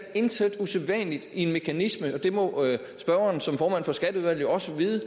intet usædvanligt i en mekanisme og det må spørgeren som formand for skatteudvalget jo også vide